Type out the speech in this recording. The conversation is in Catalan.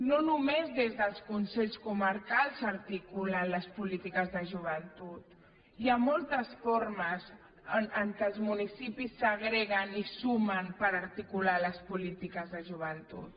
no només des dels consells comarcals s’articulen les polítiques de joventut hi ha moltes formes amb què els municipis s’agreguen i sumen per articular les polítiques de joventut